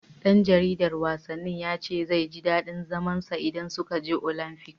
Ɗan jaridar wasannin ya ce zai ji daɗin zaman sa a Caina idan suka je Olamfik.